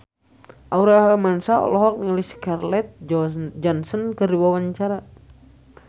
Aurel Hermansyah olohok ningali Scarlett Johansson keur diwawancara